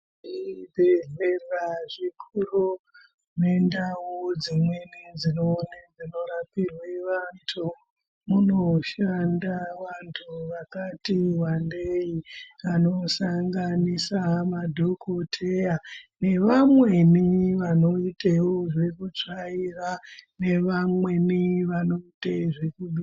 Zvibhedhlera zvikuru nendau dzimweni dzinorapirwe vantu. Munoshanda vantu vakati vandei anosanganisa madhokoteya. Nevamweni vanoitevo zvekutsvai nevamweni vanoita zvekubika.